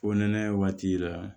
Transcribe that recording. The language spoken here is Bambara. Fo nɛnɛ waati la